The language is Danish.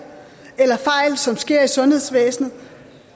eller fejl som sker i sundhedsvæsenet